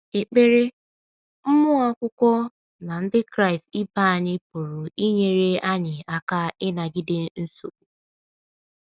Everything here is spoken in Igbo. Ekpere, mmụọ Akwụkwọ na Ndị Kraịst ibe anyị pụrụ inyere anyị aka ịnagide nsogbu.